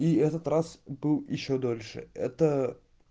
и этот раз был ещё дольше это